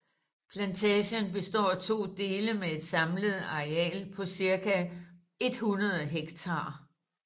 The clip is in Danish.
Plantagen består af to dele med et samlet areal på cirka 100 hektar